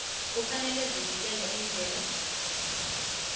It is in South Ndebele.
kufanele sivikele imvelo